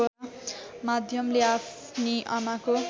माध्यमले आफ्नी आमाको